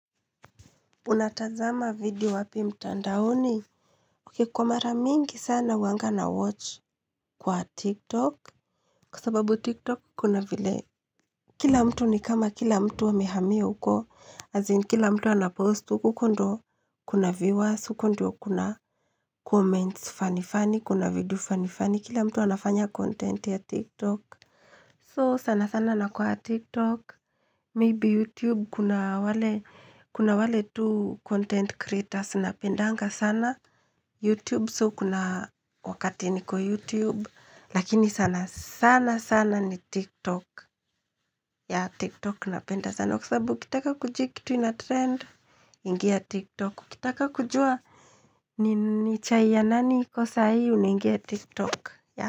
Unatazama video wapi mtandaoni? Ok, kwa mara mingi sana huwanga na watch kwa TikTok. Kwa sababu TikTok kuna vile, kila mtu ni kama kila mtu amehamia huko. Azin, kila mtu anapost huko, kuna viewers, huko ndio kuna comments, fani fani, kuna video fani fani, kila mtu anafanya content ya TikTok. So sana sana na kuwa TikTok, maybe YouTube kuna wale, kuna wale tu content creators napendanga sana. YouTube so kuna wakati niko YouTube, lakini sana sana sana ni TikTok. Yaah, TikTok napenda sana, sababu ukitaka kujua kitu ina trend, ingia TikTok, kitaka kujua. Ni chai ya nani iko saa hii unaingia TikTok, ya.